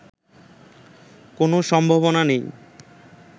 কোনও সম্ভাবনা নেই